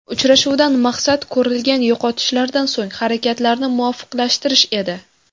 Uchrashuvdan maqsad ko‘rilgan yo‘qotishlardan so‘ng harakatlarni muvofiqlashtirish edi.